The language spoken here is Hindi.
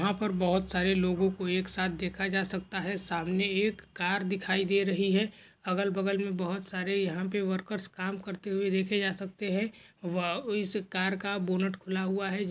यहाँ पर बहुत सारे लोगों कों एक साथ देखा जा सकता है सामने एक कार दिखाई दे रही है अगल बगल मे बहुत सारे यहाँ पे वर्कर्स काम करते हुए देखे जा सकते है व इस कार का बोनट खुला हुआ है।